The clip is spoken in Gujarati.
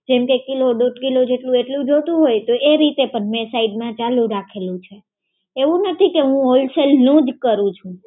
જેમ કે, કિલો દોઢ કિલો જેટલું એટલું જોતું હોય, તો એ રીતે પણ મેં સાઈડમાં ચાલુ રાખેલું છે, એવું નથી કે હું wholesale નું જ કરું છું.